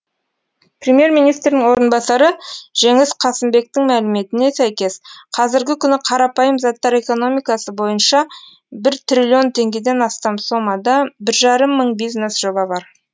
премьер министрдің орынбасары жеңіс қасымбектің мәліметіне сәйкес қазіргі күні қарапайым заттар экономикасы бойынша бір триллион теңгеден астам сомада бір жарым мың бизнес жоба бар